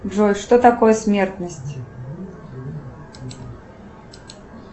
джой что такое смертность